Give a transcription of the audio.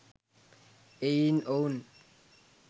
එයින් ඔවුන්